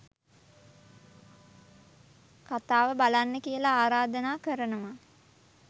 කතාව බලන්න කියලා ආරධනා කරනවා